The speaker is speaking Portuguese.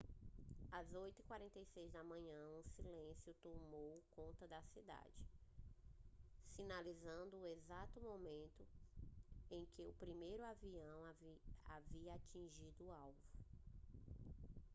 às 8:46 da manhã um silêncio tomou conta da cidade sinalizando o exato momento em que o primeiro avião havia atingido o alvo